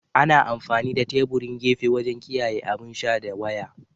Ana amfani da teburin gefe wajen kiyaye abin sha da waya.